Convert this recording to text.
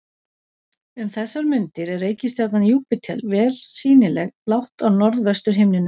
Um þessar mundir er reikistjarnan Júpíter vel sýnileg lágt á norðvestur himninum.